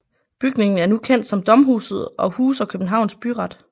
Bygningen er nu kendt som Domhuset og huser Københavns Byret